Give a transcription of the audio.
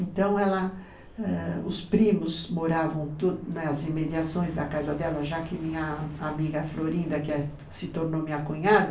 Então ela ãh , os primos moravam tu, nas imediações da casa dela, já que minha amiga Florinda, que se tornou minha cunhada,